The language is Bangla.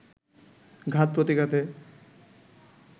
ঘাত-প্রতিঘাতে